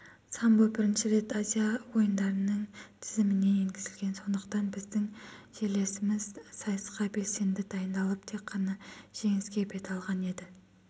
самбо бірінші рет азия ойындарының тізіміне енгізілген сондықтан біздің жерлесіміз сайысқа белсенді дайындалып тек қана жеңіске бет алған еді